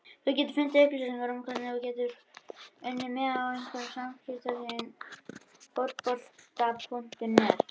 Þú getur fundið upplýsingar um hvernig þú getur unnið miða á einhverjum af samskiptasíðum Fótbolta.net.